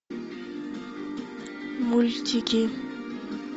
мультики